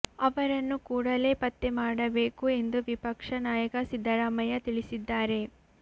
ಅವರನ್ನು ಕೂಡಲೇ ಪತ್ತೆ ಮಾಡಬೇಕು ಎಂದು ವಿಪಕ್ಷ ನಾಯಕ ಸಿದ್ದರಾಮಯ್ಯ ತಿಳಿಸಿದ್ದಾರೆ